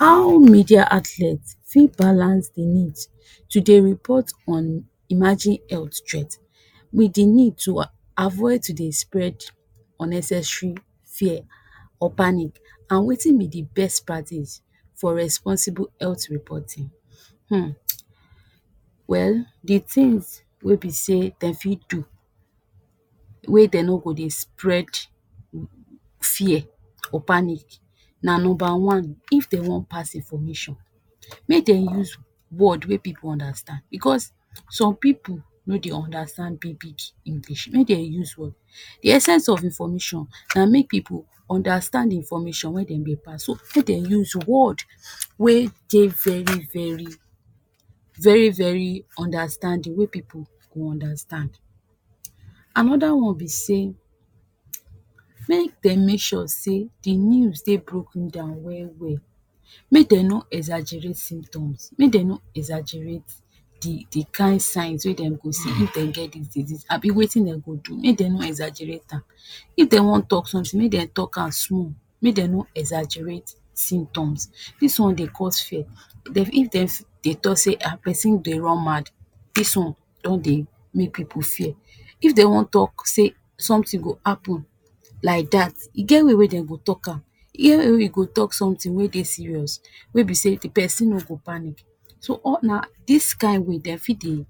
How media outlet fit balance the needs to dey report on emerging health threat with the need to avoid to dey spread unnecessary fear or panic and wetin be the best practice for responsible health reporting. Hm well, the things wey be say den fi do, wey dem no go dey spread fear or panic na number one, if den wan pass information make dem use word wey pipu understand because some pipu no dey understand big big English wey den use. The essence of information na make pipu understand information wey den dey pass, so make dem use word wey dey very very, very very understanding, wey pipu go understand. Another one be sey, make dem make sure say, the news dey broken down well-well, make dem no exaggerate symptoms, make dem no exaggerate the the kain signs wey dem go see if dem get dis disease, abi wetin dem go do if dem no exaggerate am. If dem wan talk something, make dem talk am small, make dem no exaggerate symptoms, dis one dey cause fear. If dem fi dey talk say Ah pesin dey run mad, dis one don dey make pipu fear. If they wan talk say something go happen like that, e get way wey den go talk am, e get way wey you go talk something wey dey serious, wey be sey pesin no go panic, so all na, dis kain way den fi dey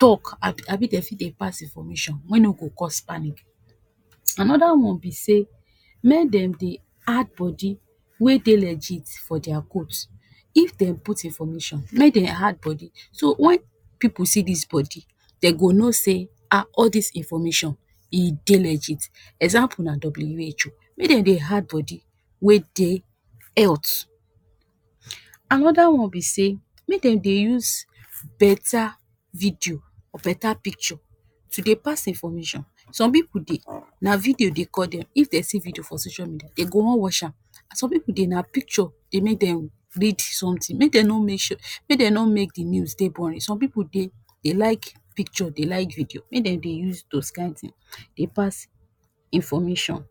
talk, abi den fi dey pass information wey no go cause panic. Another one be say, make dem dey add body wey dey legit for their quotes, if dem put information make dem add body, so when pipu see dis body den go know say Ah all these information e dey legit, example na WHO, make dem dey add body wey dey health. Another one be say, make dem dey use beta video, beta picture to dey pass information, some pipu dey, na video dey call them, if they see video for social media, they go wan watch am, some pipu dey na picture dey make them read something, make them no make sure, make dem no make the news dey boring, some pipu dey like picture, they like video, make den dey use those kain things dey pass information.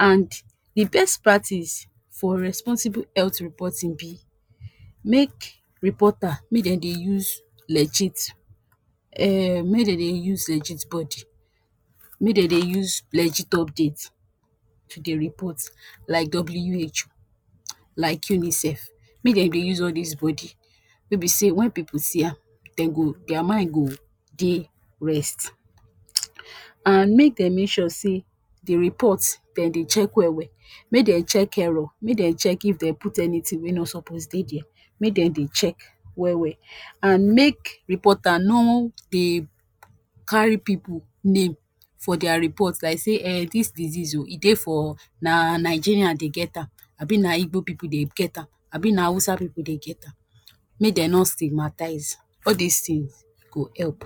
And the best part is for responsible health reporting be, make reporter, make dem dey use legit Em make dem dey use legit body, make dem dey use legit update to dey report like WHO, like UNICEF, make den dey use all these body wey be sey when pipu see am den go, their mind go dey rest. And make dem make sure say the report den dey check well-well, make dem check error, make dem check if dem put anything wey no supoz dey there, make dem dey check well-well, and make reporter no dey carry pipu name for their report like say Eh dis disease oo, e dey for, na Nigerian dey get am, abi na Igbo pipu dey get am, abi na Hausa pipu dey get am, make dem no stigmatize, all these things e go help.